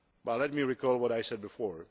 Let me recall what I said before.